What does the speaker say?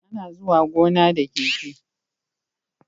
Ana zuwa gona da keke